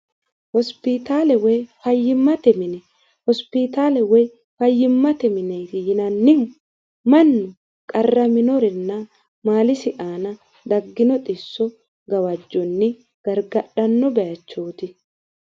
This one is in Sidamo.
hospitaale woy fayyimmate mine hospitaale woy fayyimmate mineeti yinannihu mannu qarraminorinna maalisi aana daggino xisso gawajjonni gargadhanno bayachooti